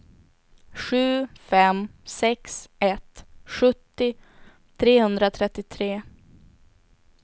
sju fem sex ett sjuttio trehundratrettiotre